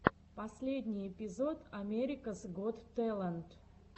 последний эпизод америкас гот тэлент